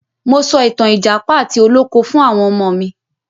Mo so ìtàn ìjàpá àti olóko fún àwọn ọmọ mi.